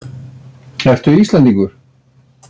Ertu Íslendingur?